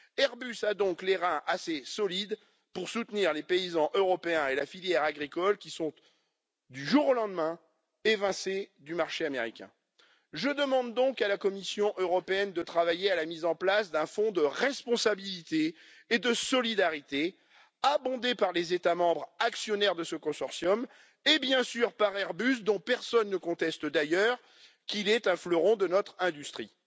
Airbus a donc les reins assez solides pour soutenir les paysans européens et la filière agricole qui sont évincés du marché américain du jour au lendemain. Je demande donc à la Commission européenne de travailler à la mise en place d'un fonds de responsabilité et de solidarité, abondé par les États membres actionnaires de ce consortium et, bien sûr, par Airbus, dont personne ne conteste d'ailleurs qu'il est un fleuron de notre industrie.